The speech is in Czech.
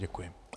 Děkuji.